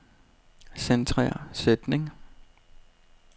Centrer sætning.